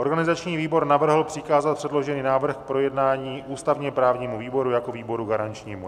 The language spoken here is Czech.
Organizační výbor navrhl přikázat předložený návrh k projednání ústavně-právnímu výboru jako výboru garančnímu.